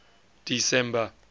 december